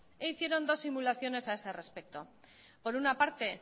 e hicieron dos simulaciones a ese respecto por una parte